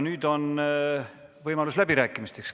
Nüüd on võimalus läbirääkimisteks.